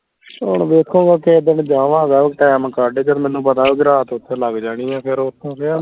ਹੁਣ ਵੇਖੋ ਮੈਂ ਕਿਸੇ ਦਿਨ ਜਾਵਾਂਗਾ ਟੈਮ ਕੱਢ ਕੇ ਤੇ ਮੈਨੂੰ ਪਤਾ ਰਾਤ ਓਥੇ ਲੱਗ ਜਾਣੀ ਆ ਫੇਰ ਓਥੋਂ ਫੇਰ ਮੈਂ